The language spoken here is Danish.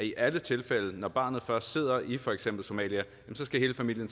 i alle tilfælde når barnet først sidder i for eksempel somalia så skal hele familien